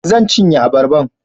Zan cinye abarban